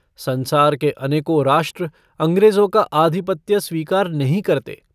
संसार के अनेकों राष्ट्र अंग्रेजों का आधिपत्य स्वीकार नहीं करते।